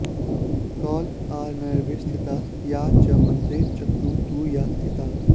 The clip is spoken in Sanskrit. कौलार्णवे स्थिता या च मन्त्रे चक्रे तु या स्थिता